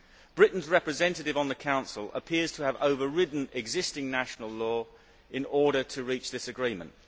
Britain's representative on the Council appears to have overridden existing national law in order to reach this agreement.